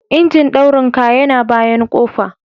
Injin daurin ka yana bayan kofa.